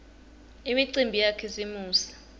imiumbi yakhisimusi